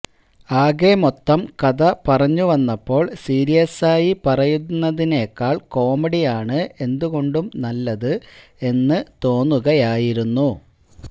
ആകെ മൊത്തം കഥ പറഞ്ഞുവന്നപ്പോള് സീരിയസായി പറയുന്നതിനേക്കാള് കോമഡിയാണ് എന്തുകൊണ്ടും നല്ലത് എന്ന് തോന്നുകയായിരുന്നു